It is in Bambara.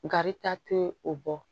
Garita tɛ o bɔ